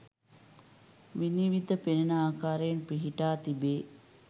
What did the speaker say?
විනිවිද පෙනෙන ආකාරයෙන් පිහිටා තිබේ.